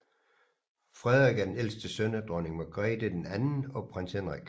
Frederik er den ældste søn af Dronning Margrethe II og Prins Henrik